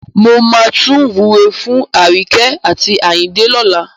Mo máa tún wúre fún Aríyìíkẹ́ àti Àyìndé lọ́la.